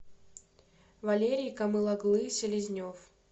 валерий камыл оглы селезнев